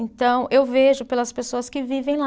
Então, eu vejo pelas pessoas que vivem lá.